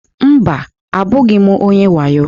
Mba, abụghị m onye wayo.